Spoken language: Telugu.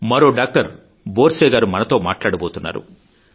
మరో డాక్టర్ బోర్సే గారు మనతో మాట్లాడబోతున్నారు